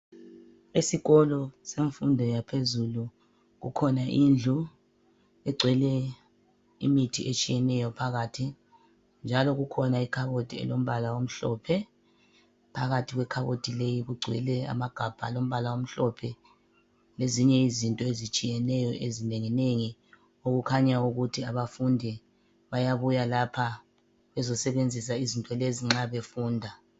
Esikolo semfundo yaphezulu kukhona indlu egcwele imithi etshiyeneyo phakathi njalo kukhona ikhabothi elombala omhlophe, phakathi kwekhabothi kugcwele amagabha alombala omhlophe lezinye izinto ezitshiyeneyo ezinengi nengi okukhanya ukuthi abafundi bayabuya lapha bezosebenzisa izinto lezi nxa befunda.